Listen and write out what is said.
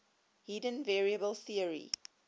hidden variable theory